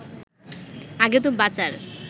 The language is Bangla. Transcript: আগে তো বাঁচার